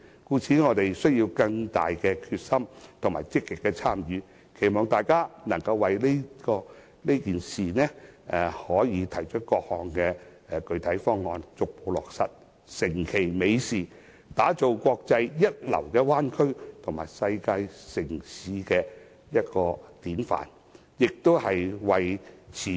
所以，我們要有更大決心、積極參與，期望大家能為此事提出各項具體方案，逐步落實，成其美事，打造國際一流的灣區及世界城市的典範，更為持續香港經濟優勢......